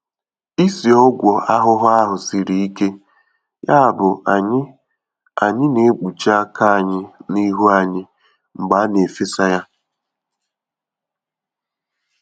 Ísì Ọgwụ ahụhụ ahu siri ike, yabụ anyị anyị naekpuchi aka anyị na ihu anyị mgbe a na-efesa ya.